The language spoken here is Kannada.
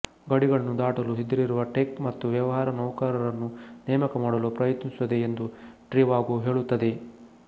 ಗಡಿಗಳನ್ನು ದಾಟಲು ಸಿದ್ಧರಿರುವ ಟೆಕ್ ಮತ್ತು ವ್ಯವಹಾರ ನೌಕರರನ್ನು ನೇಮಕ ಮಾಡಲು ಪ್ರಯತ್ನಿಸುತ್ತದೆ ಎಂದು ಟ್ರಿವಾಗೊ ಹೇಳುತ್ತದೆ